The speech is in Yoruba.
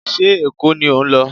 Ṣé Èkó ni ò ń lọ?